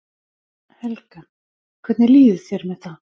Helga: Hvernig líður þér með það?